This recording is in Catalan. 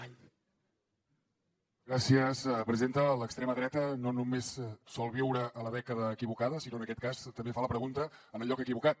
l’extrema dreta no només sol viure a la dècada equivocada sinó que en aquest cas també fa la pregunta en el lloc equivocat